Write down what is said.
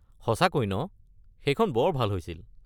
সঁচাকৈ ন! সেইখন বৰ ভাল হৈছিল।